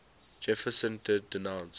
jefferson did denounce